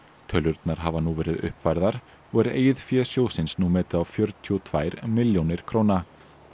tölurnar hafa nú verið uppfærðar og er eigið fé sjóðsins nú metið á fjörutíu og tvær milljónir króna